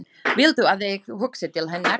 Viltu að ég hugsi til hennar?